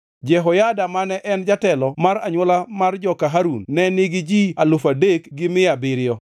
Jehoyada mane en jatelo mar anywola mar joka Harun ne nigi ji alufu adek gi mia abiriyo (3,700),